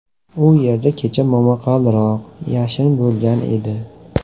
U yerda kecha momaqaldiroq, yashin bo‘lgan edi.